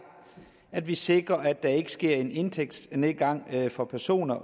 at vi sikrer at der ikke sker en indtægtsnedgang for personer